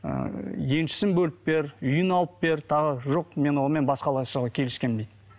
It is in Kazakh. ыыы еншісін бөліп бер үйін алып бер тағы жоқ мен онымен басқалай жасауға келіскенмін дейді